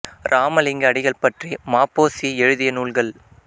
இராமலிங்க அடிகள் பற்றி ம பொ சி எழுதிய நூல்கள்